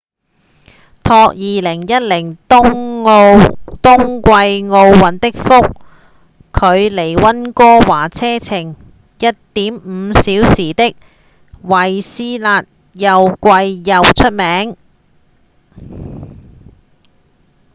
託2010冬季奧運的福距離溫哥華車程 1.5 小時的惠斯勒又貴又出名